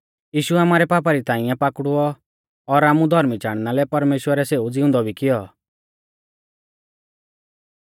यीशु आमारै पापा री ताइंऐ पाकड़ुऔ और आमु धौर्मी चाणना लै परमेश्‍वरै सेऊ ज़िउंदौ भी किऔ